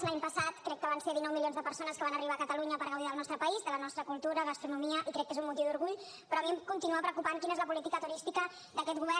l’any passat crec que van ser dinou milions de persones que van arribar a catalunya per gaudir del nostre país de la nostra cultura gastronomia i crec que és un motiu d’orgull però a mi em continua preocupant quina és la política turística d’aquest govern